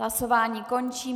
Hlasování končím.